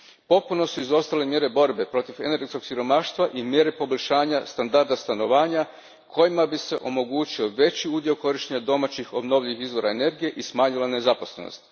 Potpuno su izostale mjere borbe protiv energetskog siromaštva i mjere poboljšanja standarda stanovanja kojima bi se omogućio veći udio korištenja domaćih obnovljivih izvora energije i smanjila nezaposlenost.